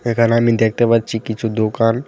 এখানে আমি দেখতে পাচ্ছি কিছু দোকান.